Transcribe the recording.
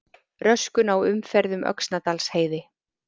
Röskun á umferð um Öxnadalsheiði